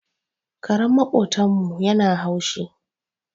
Karen maƙotan mu yana haushi